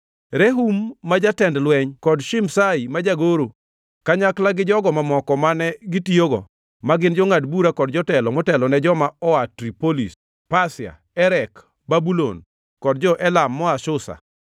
Rehum ma jatend lweny kod Shimshai ma jagoro, kanyakla gi jogo mamoko mane gitiyogo, ma gin jongʼad bura kod jotelo motelone joma oa Tripolis, Pasia, Erek, Babulon kod jo-Elam moa Susa,